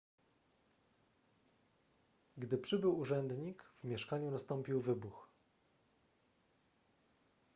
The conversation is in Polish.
gdy przybył urzędnik w mieszkaniu nastąpił wybuch